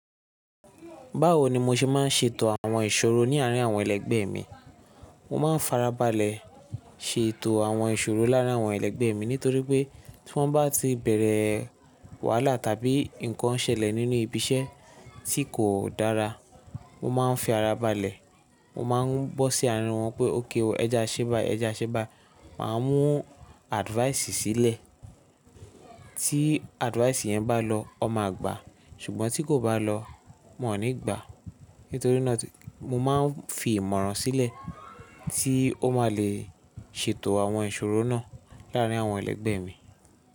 Báwo ni mo ṣe máa ń ṣètò àwọn ìṣòro ní àárín àwọn ẹlẹgbẹ́ mi? Mo máa ń farabalẹ̀ ṣètò àwọn ìṣòro láàrín àwọn ẹlẹgbẹ́ mi nítorí pé tí wọ́n bá ti bẹ̀rẹ̀ wàhálà tàbí ǹkan ṣẹlẹ̀ nínú ibi iṣẹ́ tí kò dára, mo máa ń fi ara balẹ̀. Mo máa ń bọ́ sí àárín wọn pé okay oo, ẹ je a ṣé báyii, ẹ je a ṣé báyii. Máa mú advice sílẹ̀, tí advice yẹn bá lọ, won máa gbà, ṣùgbọ́n tí kò bá lọ, won ní gbà. Nítorí náà tí mo máa ń fi ìmọ̀ràn sílẹ̀ tí ó máa le ṣètò àwọn ìṣòro náà láàrín àwọn ẹlẹgbẹ́ mi.